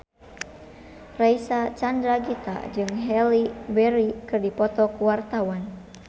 Reysa Chandragitta jeung Halle Berry keur dipoto ku wartawan